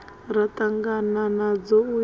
ra ṱangana nadzo u ya